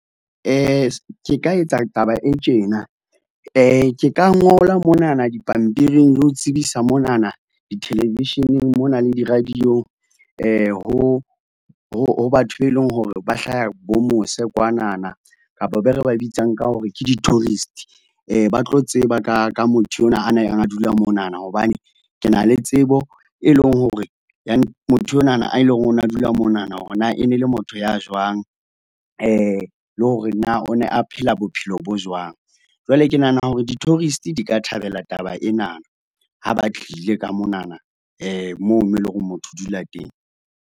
Ke ka etsa taba e tjena, ke ka ngola monana dipampiring le ho tsebisa monana di-television-eng mona le di radio-ng. Ho, ho, ho batho be e leng hore ba hlaha bo mose kwanana, kapa be re ba bitsang ka hore ke di-tourist, ba tlo tseba ka, ka motho enwa a neng a dula monana. Hobane ke na le tsebo, e leng hore ya motho enwana a e leng hore o na dula monana hore na e ne le motho ya jwang, le hore na o ne a phela bophelo bo jwang? Jwale ke nahana hore di-tourist di ka thabela taba ena. Ha ba tlile ka monana moo mo e leng hore motho o dula teng.